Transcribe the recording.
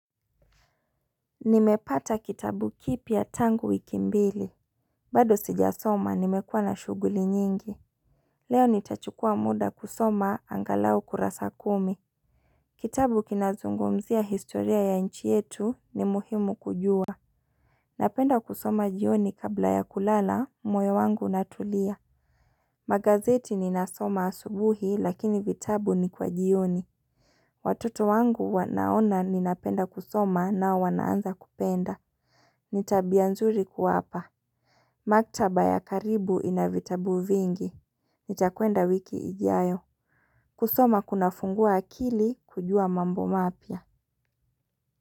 Nimepata kitabu kipya tangu wiki mbili. Bado sijasoma, nimekuwa na shughuli nyingi. Leo nitachukua muda kusoma angalau kurasa kumi. Kitabu kinazungumzia historia ya nchi yetu ni muhimu kujua. Napenda kusoma jioni kabla ya kulala, moyo wangu natulia. Magazeti ninasoma asubuhi lakini vitabu ni kwa jioni. Watoto wangu wanaona ninapenda kusoma nao wanaanza kupenda. Ni tabia nzuri kuwapa. Maktaba ya karibu ina vitabu vingi. Nitakwenda wiki ijayo. Kusoma kunafungua akili kujua mambo mapya.